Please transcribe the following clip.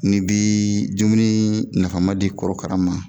Ni n bii dumunii nafama di korokara ma